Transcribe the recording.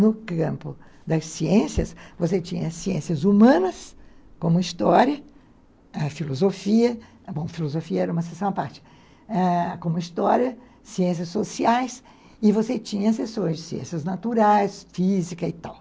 No campo das ciências, você tinha ciências humanas, como história, filosofia, bom, filosofia era uma sessão à parte, ãh, como história, ciências sociais, e você tinha sessões de ciências naturais, física e tal.